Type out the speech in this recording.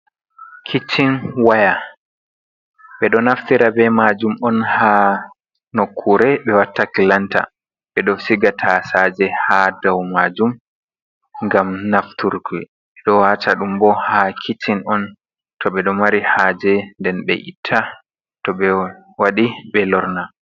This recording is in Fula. Kiccin waya ɓe ɗo naftira be majum on ha nokure ɓe watta kilanta, ɓe ɗo siga tasaje ha dau majum ngam nafturke, ɓe ɗo wata ɗum bo ha kiccin on to ɓe ɗo mari haje nden ɓe itta, to ɓe waɗi ɓe lorna.